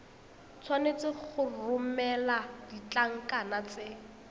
tshwanetse go romela ditlankana tse